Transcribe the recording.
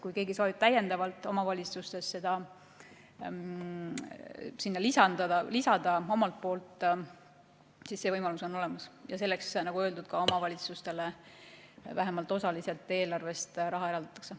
Kui keegi soovib täiendavalt omavalitsustes sinna omalt poolt midagi lisada, siis see võimalus on olemas ja selleks, nagu öeldud, omavalitsustele vähemalt osaliselt eelarvest raha ka eraldatakse.